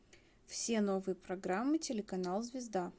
все новые программы телеканал звезда